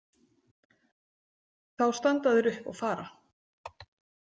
Þá standa þeir upp og fara.